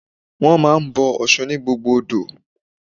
Wọ́n máa ń bọ Ọ̀ṣun ni gbogbo odò.